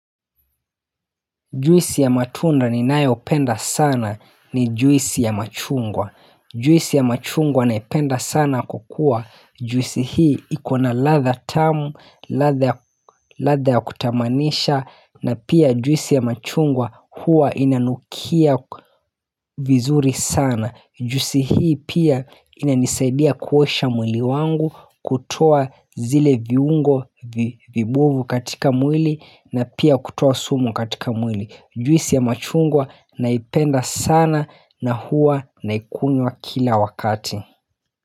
Juisi ya matunda ninayo penda sana ni juisi ya machungwa. Juisi ya machungwa naipenda sana kukua. Juisi hii ikona ladha tamu, ladha ya kutamanisha na pia juisi ya machungwa huwa inanukia vizuri sana. Juisi hii pia ina nisaidia kuosha mwili wangu kutoa zile viungo vibovu katika mwili na pia kutoa sumu katika mwili Juisi ya machungwa naipenda sana na huwa naikunywa kila wakati.